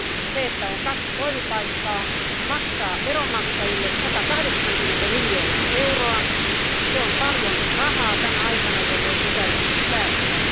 Se, että on kaksi toimipaikkaa, kuitenkin maksaa veronmaksajille 180 miljoonaa euroa, se on paljon rahaa tänä aikana, jolloin pitäisi säästää.